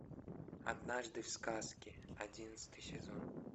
однажды в сказке одиннадцатый сезон